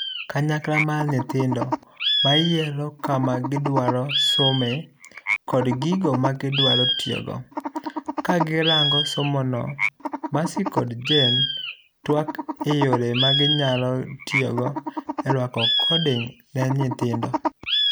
Kanyakla mar nyithindo mayiero kama gidua somee kod gigo magidwa tiyogo.' Ka girango somono, Mercy kod Jane tuak eyore maginyalo tiyogo eruako coding ne nyithindo.